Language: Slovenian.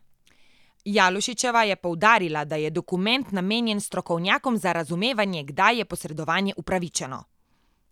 Jalušičeva je poudarila, da je dokument namenjen strokovnjakom za razumevanje, kdaj je posredovanje upravičeno.